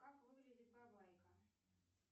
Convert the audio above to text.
как выглядит бабайка